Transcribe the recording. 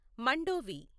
Mandovi